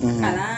kalan